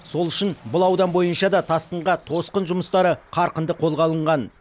сол үшін бұл аудан бойынша да тасқынға тосқын жұмыстары қарқынды қолға алынған